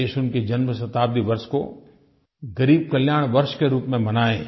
देश उनके जन्मशताब्दी वर्ष को गरीब कल्याण वर्ष के रूप में मनाए